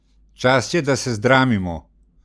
Čas je, da se zdramimo!